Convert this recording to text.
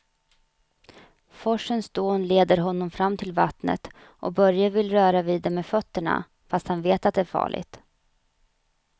Forsens dån leder honom fram till vattnet och Börje vill röra vid det med fötterna, fast han vet att det är farligt.